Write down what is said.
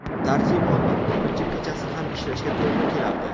Tarjimonman, ko‘pincha kechasi ham ishlashga to‘g‘ri kelardi.